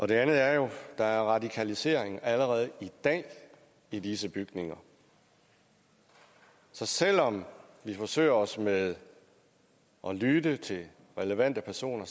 det andet er der radikalisering allerede i dag i disse bygninger så selv om vi forsøger os med at lytte til relevante personer